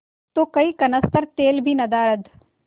तो कई कनस्तर तेल भी नदारत